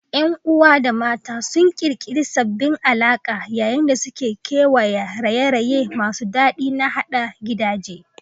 Yan uwa da mata sun ƙirƙiri sabbin alaƙa yayin da suke kewaya raye-raye masu daɗi na haɗa gidaje.